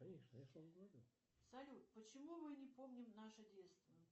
салют почему мы не помним наше детство